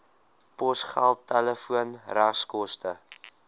posgeld telefoon regskoste